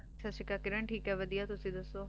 ਸਾਸਰੀਕਾਲ ਕਿਰਣ ਠੀਕ ਆਯ ਵਾਦਿਯ ਤੁਸੀਂ ਦਸੋ